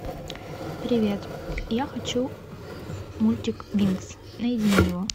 привет я хочу мультик винкс найди мне его